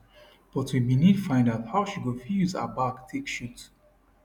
but we bin need find out how she go fit use her back take shoot